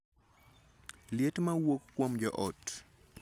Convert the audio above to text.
Liet ma wuok kuom joot